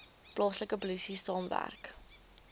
plaaslike polisie saamwerk